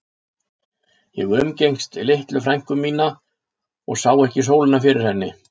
Ég umgekkst litlu frænku mína mikið og sá ekki sólina fyrir henni.